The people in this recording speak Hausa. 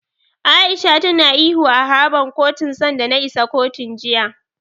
A'isha tana ihu a harabar kotun sanda na isa kotun, jiya.